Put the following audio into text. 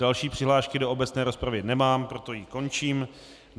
Další přihlášky do obecné rozpravy nemám, proto ji končím.